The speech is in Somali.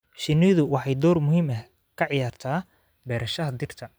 Shinnidu waxay door muhiim ah ka ciyaartaa beerashada dhirta.